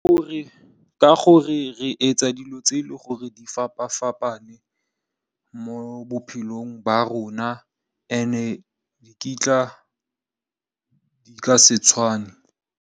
Ka gore re etsa dilo tse e leng gore di fapa fapane, mo bophelong ba rona and di ka se tshwane.